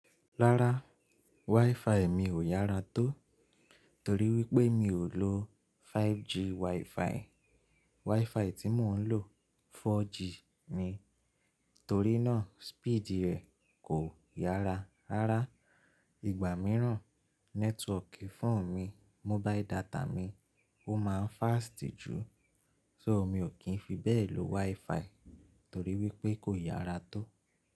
Rárá, WiFi mi ò yára tó torí wípé mi ò lo 5G WiFi. WiFi tí mò ń lò 4G ni, torí náà speed rẹ̀ kò yára. Rárá, ìgbà mìíràn nẹ́tíwọ̀ọ̀kì fóònù mi, mobile data mi ó máa ń fast ju, so mi ò kí ń fi bẹ́ẹ̀ lò WiFi torí wípé kò yára tó.